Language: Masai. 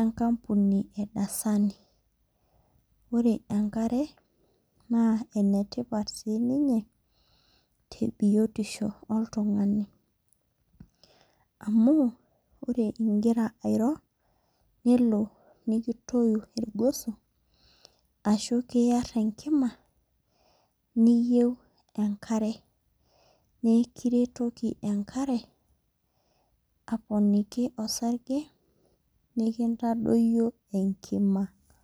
enkampuni ee Dasani. Ore enkare naa enetipat sii ninye te biotisho oltung'ani amu ore igira airo nelo netoi irgoso ashu kiyar enkima niyeu enkare. Naa ikiretoki enkare apooniki orsage nikintadoyio enkima.